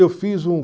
Eu fiz um